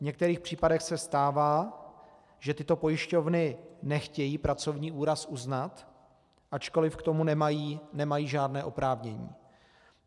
V některých případech se stává, že tyto pojišťovny nechtějí pracovní úraz uznat, ačkoli k tomu nemají žádné oprávnění.